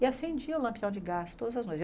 E acendia o lampião de gás todas as noites.